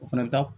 O fana bɛ taa